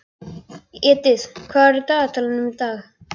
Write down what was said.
Edith, hvað er á dagatalinu í dag?